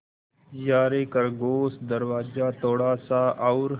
यारे खरगोश दरवाज़ा थोड़ा सा और